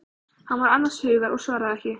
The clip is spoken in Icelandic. Hann var annars hugar og svaraði ekki.